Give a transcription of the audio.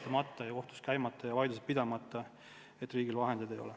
Kohtus ei tohi jääda käimata ja vaidlused pidamata põhjusel, et riigil vahendeid ei ole.